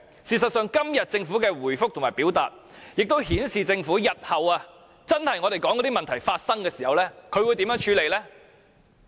事實上，今天政府的回覆亦顯示了政府日後，在真的發生我們所說的問題時會如何處理。